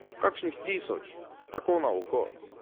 Kakšnih tisoč, tako na oko ...